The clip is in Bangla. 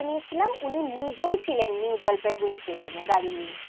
book করে নিয়েছিলাম উনি নিজেই ছিলেন নিউজলপাইগুড়ি স্টেশন এ গাড়ি নিয়ে